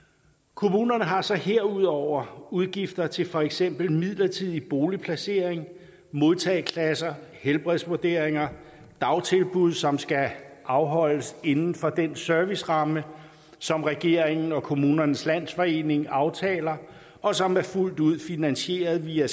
kommunerne har så herudover udgifter til for eksempel midlertidig boligplacering modtageklasser helbredsvurderinger dagtilbud som skal afholdes inden for den serviceramme som regeringen og kommunernes landsforening aftaler og som er fuldt ud finansieret via